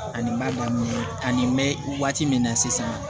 Ani n b'a dɔn ani n bɛ waati min na sisan